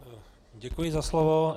Děkuji za slovo.